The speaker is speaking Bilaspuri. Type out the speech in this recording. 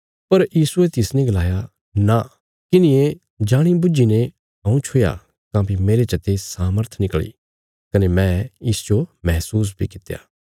पर यीशुये तिसने गलाया नां किन्हिये जाणी बुझी ने हऊँ छुया काँह्भई मेरे चते सामर्थ निकल़ी कने मैं इसजो महसूस बी कित्या